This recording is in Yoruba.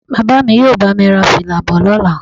Bàbá mi yóò bá mi ra fìlà bọ̀ lọ́la